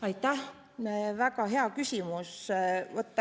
Aitäh, väga hea küsimus!